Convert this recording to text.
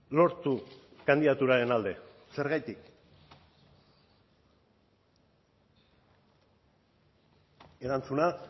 lortu kandidaturaren alde zergatik erantzuna